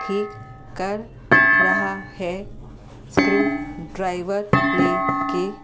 ठीक कर रहा है स्क्रू ड्राइवर लेके।